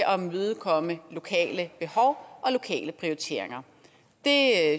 at imødekomme lokale behov og lokale prioriteringer det